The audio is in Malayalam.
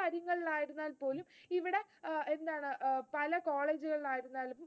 പല കാര്യങ്ങളിൽ ആയിരുന്നാൽ പോലും ഇവിടെ എന്താണ് അഹ് പല college കളിൽ ആയിരുന്നാലും,